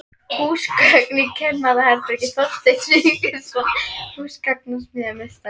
Húsgögn í kennaraherbergi: Þorsteinn Sigurðsson, húsgagnasmíðameistari.